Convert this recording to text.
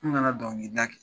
N kana donkilida kɛ